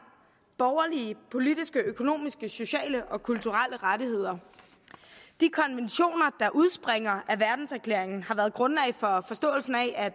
borgerlige politiske økonomiske sociale og kulturelle rettigheder de konventioner der udspringer af verdenserklæringen har været grundlag for forståelsen af at